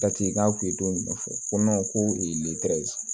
Dati k'a kun ye don jumɛn fɔ ko ko